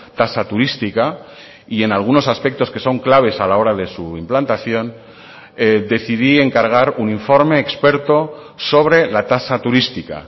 tasa turística y en algunos aspectos que son claves a la hora de su implantación decidí encargar un informe experto sobre la tasa turística